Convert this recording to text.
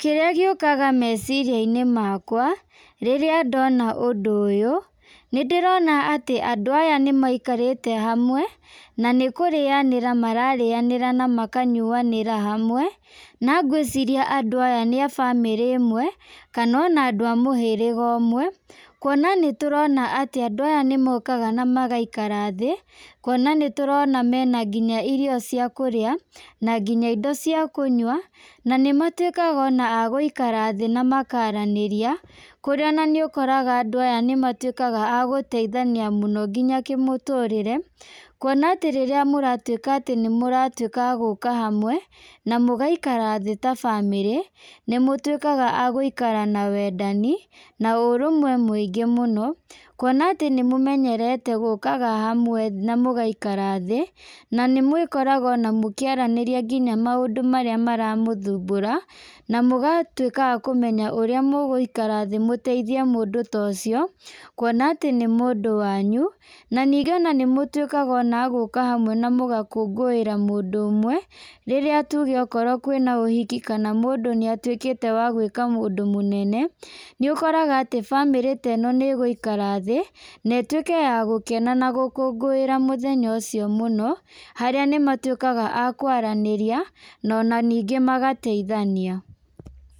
Kĩrĩa gĩũkaga meciria-inĩ makwa, rĩrĩa ndona ũndũ ũyũ, nĩ ndĩrona atĩ andũ aya nĩmaikarĩte handũ hamwe, na nĩ kũrĩanĩra mararĩanĩra na makanyuanĩra hamwe, na ngwĩciria andũ aya nĩ a bamĩrĩ ĩmwe, kana ona andũ a mũhĩrĩga ũmwe, kuona atĩ nĩtũrona atĩ andũ aya nĩ mokaga na magaikara thĩ, kuona nĩ tũrona mena nginya irio cia kũrĩa, na nginya indo cia kũnyua, na nĩ matwĩkaga ona agũikara thĩ na makaranĩria, kũrĩa ona nĩ ũkoraga andũ aya nĩmatwĩkaga agũteithania mũno nginya kĩmũtũrĩre, kuona atĩ rĩrĩa mũratwĩka agũka hamwe na mũgaikara thĩ ta bamĩrĩ, nĩmũtwĩkaga agũikara thĩ na wendani, na ũrũmwe mũingĩ mũno, kuona atĩ nĩmũmenyerete gũkaga hamwe na mũgaikara thĩ, nĩmwĩkoraga ona mũkĩarĩrĩria maũndũ marĩa mara mũthumbũra, na mũgatwĩka akũmenya ũrĩa mũgũikara thĩ mũteithie mũndũ ta ũcio, kuona atĩ nĩ mũndũ wanyu, na ningĩ ona nĩmũtwĩkaga ona agũka hamwe na mũgakũngũĩra mũndũ ũmwe, rĩrĩa tũge kwĩna ũhiki kana mũndũ atwĩkĩte wa gwĩka ũndũ mũnene, nĩ ũkoraga atĩ bamĩrĩ ta ĩno nĩ ĩgũikara thĩ, na ĩtwĩke ya gũkena na gũkũngũĩra ũndũ ũcio mũno, harĩa nĩma twĩkaga akũaranĩria na ona ningĩ magateithania.